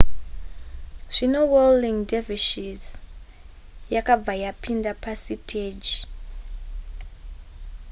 zvino whirling dervishes yakabva yapinda pasiteji